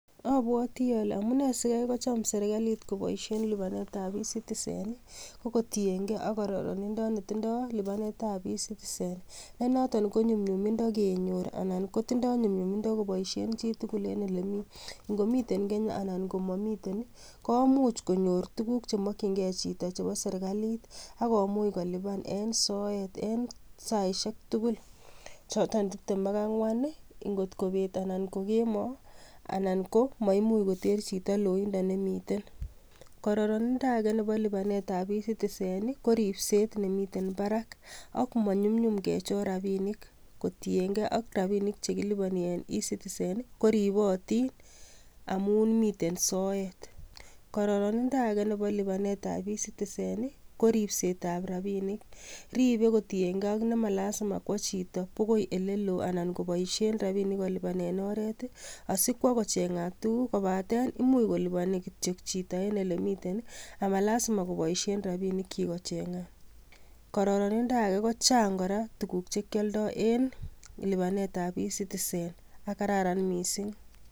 Abwoti olee amune sikaikocham serikalit koboishen libanet ab ecitizen i kokotienke ak kororonindo netindo libanetab ecitizen, en noton konyumnyumindo kenyor anan kotindo nyumnyumindo koboishen chitukul en elemi ngomiten Kenya anan komomiten komuch konyor tukuk chemokying'e chito chebo sirikalit akomuch koliban en soet en saishek tukul choton tibtem ak angwan i ingot kobet anan kokemo anan ko maimuch koter chito loindo nemiten, kororonindo akee nebo libanetab ecitizen i koribset nemiten barak akomanyumnyum kechor rabinik kotieng'e rabinik chekiliboni en ecitizen koribotin amun miten soet, kororonindo akee nebo libanet ab ecitizen i koripsetab rabinik, ribe kotienke ak nemalasima kwo chito kwokoi elelo anan koboishen rabinik kolibanen oreet asikwo kocheng'at tukuk kobaten imuch koliboni chito kityok en elemiten amalasima koboishen rabinikyik kocheng'at, kororonindo akee kochang korak tukuk chekioldo en libanetab ecitizen akokararan mising'.